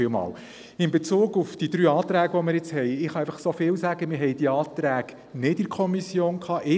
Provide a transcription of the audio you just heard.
In Bezug auf die drei Anträge kann ich sagen, dass wir diese nicht in der Kommission vorberaten konnten.